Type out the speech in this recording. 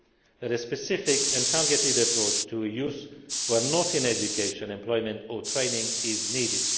view that a specific and targeted approach to youth who are not in education, employment or training is needed.